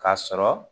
K'a sɔrɔ